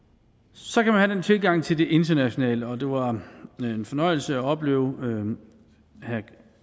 så kan man have forskellig tilgang til det internationale og det var en fornøjelse at opleve herre